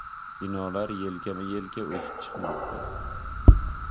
Binolar yelkama-yelka o‘sib chiqmoqda.